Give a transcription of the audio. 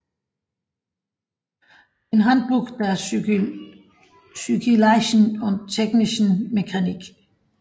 In Handbuch der physikalischen und technischen Mechanik